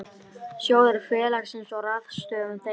Sjóðir félagsins og ráðstöfun þeirra.